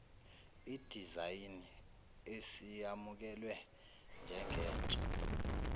idizayini isiyamukelwe njengentsha